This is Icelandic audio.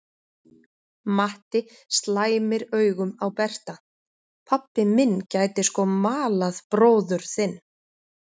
Matti slæmir augum á Berta: Pabbi minn gæti sko malað bróður þinn.